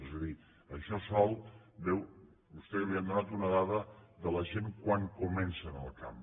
és a dir amb això sol veu vostè que li han donat una dada de la gent quan comencen al camp